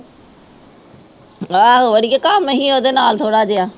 ਆਹੋ ਅੜੀਏ ਨਹੀਂ ਉੁਹਦੇ ਨਾਲ ਥੋੜ੍ਹਾ ਜਿਹਾ